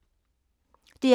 DR P2